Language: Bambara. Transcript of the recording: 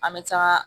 An bɛ taa